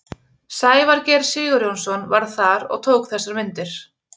Sævar Geir Sigurjónsson var þar og tók þessar myndir.